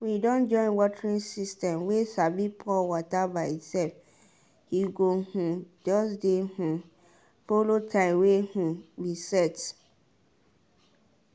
we don join watering system way sabi pour water by itself e go um just dey um follow time wey um we set.